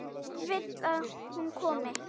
Vill að hún komi.